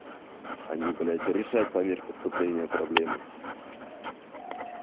они блять решать по мере поступления проблемы